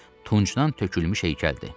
Elə bil tuncdan tökülmüş heykəldir.